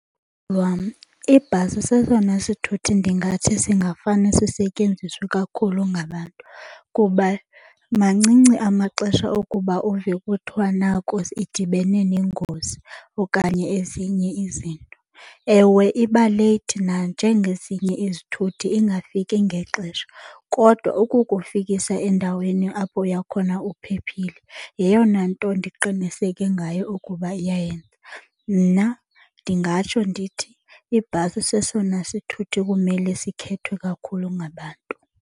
ibhasi sesona sithuthi ndingathi singafane sisetyenziswe kakhulu ngabantu kuba mancinci amaxesha okuba uve kuthiwa nako idibene nengozi okanye ezinye izinto. Ewe, iba late nanjengezinye izithuthi ingafiki ngexesha, kodwa ukukufikisa endaweni apho uya khona uphephile yeyona nto ndiqiniseke ngayo ukuba iyayenza. Mna ndingatsho ndithi ibhasi sesona sithuthi kumele sikhethwe kakhulu ngabantu.